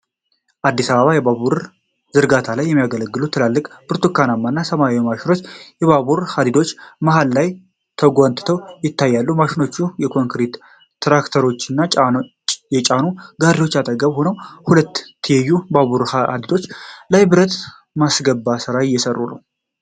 አዲስ የባቡር መስመር ዝርጋታ ላይ የሚያገለግሉ ትላልቅ ብርቱካናማ እና ሰማያዊ ማሽኖች የባቡር ሀዲዶች መሃል ላይ ተጎትተው ይታያሉ። ማሽኖቹ የኮንክሪት ትራቨርሶችን የጫኑ ጋሪዎች አጠገብ ሆነው በሁለት ትይዩ ባቡር ሀዲዶች ላይ ብረት የማስገባት ሥራ እየሰሩ ነው።